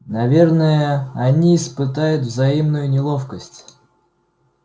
наверное они испытают взаимную неловкость